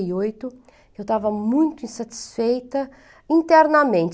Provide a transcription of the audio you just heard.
oito. Eu estava muito insatisfeita internamente.